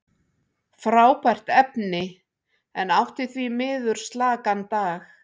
Frábært efni, en átti því miður slakan dag.